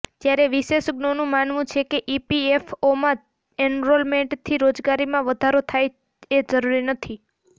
ત્યારે વિશેષજ્ઞોનું માનવું છે કે ઇપીએફઓમાં એનરોલમેન્ટથી રોજગારીમાં વધારો થાય એ જરુરી નથી